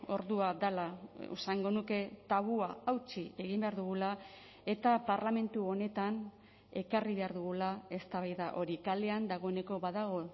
ordua dela esango nuke tabua hautsi egin behar dugula eta parlamentu honetan ekarri behar dugula eztabaida hori kalean dagoeneko badago